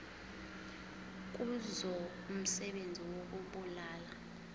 kuzo umsebenzi wokubulala